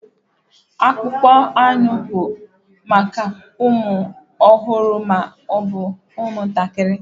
Akpụkpọ anụ bụ maka ụmụ ọhụrụ ma ọ bụ ụmụ ntakiri.